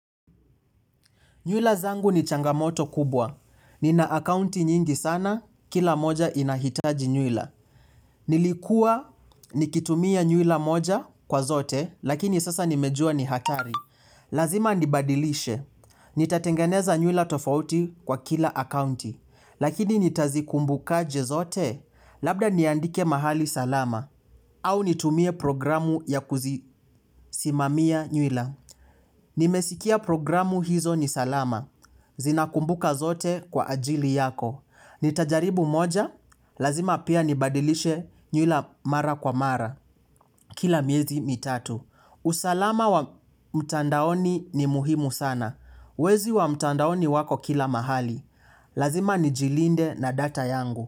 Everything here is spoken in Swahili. Nyuila zangu ni changamoto kubwa. Nina akaunti nyingi sana, kila moja inahitaji nyuila. Nilikuwa nikitumia nyuila moja kwa zote, lakini sasa nimejua ni hatari. Lazima nibadilishe. Nitatengeneza nyuila tofauti kwa kila akaunti. Lakini nitazikumbukaje zote, labda niandike mahali salama. Au nitumie programu ya kuzisimamia nyuila. Nimesikia programu hizo ni salama. Zina kumbuka zote kwa ajili yako. Nitajaribu moja, lazima pia nibadilishe nyuila mara kwa mara. Kila miezi mitatu usalama wa mtandaoni ni muhimu sana. Wezi wa mtandaoni wako kila mahali. Lazima nijilinde na data yangu.